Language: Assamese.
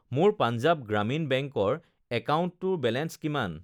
মোৰ পাঞ্জাৱ গ্ৰামীণ বেংকৰ একাউণ্টটোৰ বেলেঞ্চ কিমান